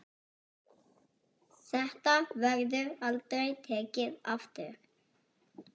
Þetta verður aldrei tekið aftur.